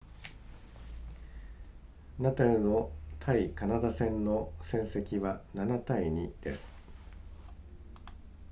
ナダルの対カナダ戦の戦績は 7-2 です